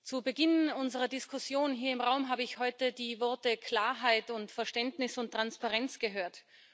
Zu Beginn unserer Diskussion hier im Raum habe ich heute die Worte Klarheit, Verständnis und Transparenz gehört.